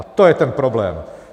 A to je ten problém.